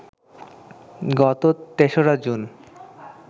গত ৩রা জুন